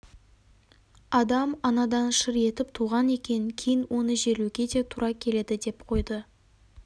адам анадан шыр етіп туған екен кейін оны жерлеуге де тура келеді деп қойды